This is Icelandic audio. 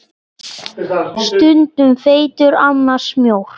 Við vissum hvers vegna.